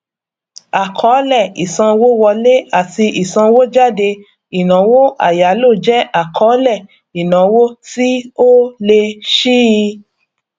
àkọọlẹ ìsanwówọlé ati ìsanwójáde ìnáwó àyáló jẹ àkọọlẹ ìnáwó tí ó lé síi